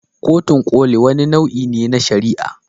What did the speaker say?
Kotun Koli wani nau'i ne na shari'a.